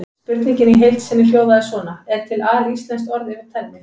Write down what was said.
Spurningin í heild sinni hljóðaði svona: Er til alíslenskt orð yfir tennis?